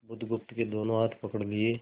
बुधगुप्त के दोनों हाथ पकड़ लिए